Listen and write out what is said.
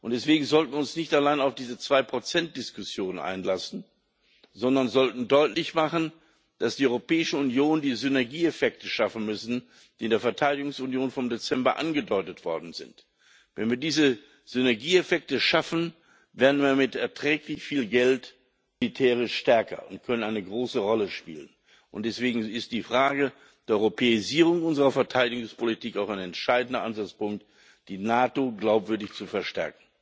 Und deswegen sollten wir uns nicht allein auf diese 2 Diskussion einlassen, sondern wir sollten deutlich machen, dass die Europäische Union die Synergieeffekte schaffen muss, die in der Verteidigungsunion vom Dezember angedeutet worden sind. Wenn wir diese Synergieeffekte schaffen, werden wir mit erträglich viel Geld militärisch stärker und können eine große Rolle spielen. Deswegen ist die Frage der Europäisierung unserer Verteidigungspolitik auch ein entscheidender Ansatzpunkt, die NATO glaubwürdig zu stärken.